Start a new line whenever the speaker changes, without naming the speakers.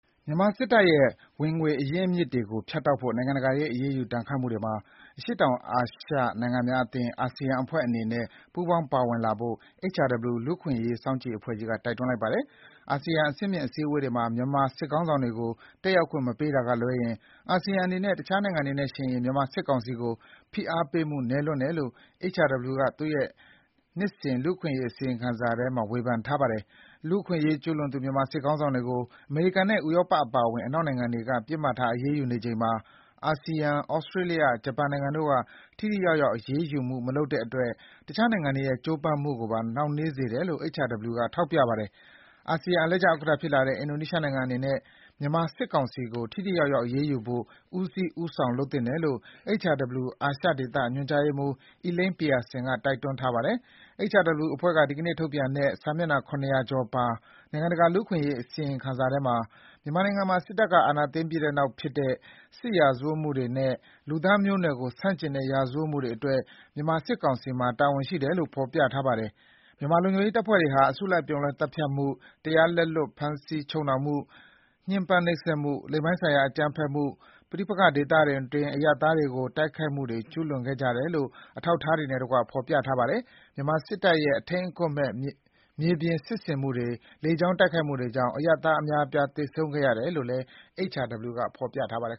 မြန်မာစစ်တပ်ရဲ့ ဝင်ငွေအရင်းအမြစ်တွေကို ဖြတ်တောက်ဖို့ နိုင်ငံတကာရဲ့အရေးယူဒဏ်ခတ်မှုတွေမှာ အရှေ့တောင်အာရှ ASEAN အဖွဲ့ဝင်နိုင်ငံတွေအနေနဲ့ ပူးပေါင်းပါဝင်လာဖို့ HRW လူ့အခွင့်အရေးအဖွဲ့ကြီးက တိုက်တွန်းပါတယ်။ အာဆီယံအဆင့်မြင့်အစည်းအဝေးတွေမှာ မြန်မာစစ်ခေါင်းဆောင်တွေကို တတ်ရောက်ခွင့်မပေးတာကလွဲရင်၊ အာဆီယံအနေနဲ့ အခြားနိုင်ငံတွေနဲ့ယှဉ်ရင် မြန်မာစစ်ကောင်စီကို ဖိအားပေးမှုနည်းလွန်းတယ်လို့ HRW က သူ့ရဲ့ နှစ်စဉ်လူ့အခွင့်အရေးအစီရင်ခံစာထဲ ဝေဖန်ထားပါတယ်။ လူ့အခွင့်အရေးကျူးလွန်သူ မြန်မာစစ်ခေါင်းဆောင်တွေကို အမေရိကန်နဲ့ ဥရောပအပါအဝင် အနောက်နိုင်ငံတွေက ပစ်မှတ်ထားအရေးယူနေချိန်မှာ၊ အာဆီယံ ဩစတေးလျ ဂျပန်နိုင်ငံတို့က ထိထိရောက်ရောက်အရေးယူမှုမလုပ်တဲ့အတွက် အခြားနိုင်ငံတွေရဲ့ကြိုးပမ်းမှုကိုပါ နှောင့်နှေးစေတယ်လို့ HRW က ထောက်ပြပါတယ်။ အာဆီယံအလှည့်ကျဥက္ကဌဖြစ်လာတဲ့ အင်ဒိုနီးရှားနိုင်ငံအနေနဲ့ မြန်မာစစ်ကောင်စီကို ထိထိရောက်ရောက်အရေးယူဖို့ ဦးစီးဦးဆောင်လုပ်သင့်တယ်လို့ HRW အာရှဒေသ ညွှန်ကြားရေးမှုး Elaine Pearson က တိုက်တွန်းထားပါတယ်။ HRW အဖွဲ့က ဒီကနေ့ထုတ်ပြန်တဲ့ စာမျက်နှာ ၇၀၀ ကျော်ပါ နိုင်ငံတကာလူ့အခွင့်အရေးအစီရင်ခံစာထဲမှာ မြန်မာနိုင်ငံမှာ စစ်တပ်အာဏာသိမ်းပြီးနောက်ဖြစ်တဲ့ စစ်ရာဇဝတ်မှုတွေနဲ့ လူသားမျိုးနွယ်ကိုဆန့်ကျင်တဲ့ရာဇဝတ်မှုတွေအတွက် မြန်မာစစ်ကောင်စီမှာ တာဝန်ရှိတယ်လို့ ဖော်ပြထားပါတယ်။ မြန်မာလုံခြုံရေးတပ်ဖွဲ့တွေဟာ အစုအပြုံလိုက်သတ်ဖြတ်မှု၊ တရားလက်လွတ်ဖမ်းဆီးချုပ်နှောင်မှု၊ ညှင်းပမ်းနှိပ်စက်မှု၊ လိင်ပိုင်းဆိုင်ရာအကြမ်းဖက်မှု၊ ပဋိပက္ခဒေသတွင်း အရပ်သားတွေကို တိုက်ခိုက်မှုတွေ ကျူးလွန်ခဲ့ကြတယ်လို့ အထောက်အထားတွေနဲ့တကွ ဖော်ပြပါတယ်။ မြန်မာစစ်တပ်ရဲ့ အထိမ်းအကွပ်မဲ့ မြေပြင်စစ်ဆင်မှုတွေ လေကြောင်းတိုက်ခိုက်မှုတွေကြောင့် အရပ်သားအများအပြား သေဆုံးခဲ့ရတယ်လို့လည်း HRW က ဖော်ပြပါတယ်